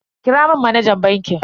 Kira mun manajan bankin.